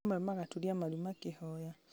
amwe magaturia maru makĩhoya